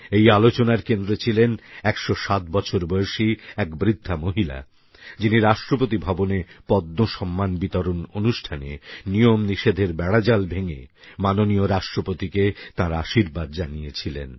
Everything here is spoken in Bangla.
এই আলোচনার কেন্দ্রে ছিলেন ১০৭বছর বয়সী এক বৃদ্ধা মহিলা যিনি রাষ্ট্রপতি ভবনে পদ্মসম্মান বিতরণ অনুষ্ঠানে নিয়মনিষেধের বেড়াজাল ভেঙে মাননীয় রাষ্ট্রপতিকে তাঁর আশীর্বাদ জানিয়েছিলেন